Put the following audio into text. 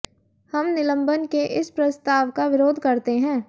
हम निलंबन के इस प्रस्ताव का विरोध करते हैं